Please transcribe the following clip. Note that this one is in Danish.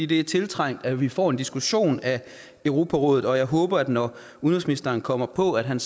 det er tiltrængt at vi får en diskussion af europarådet og jeg håber når udenrigsministeren kommer på at han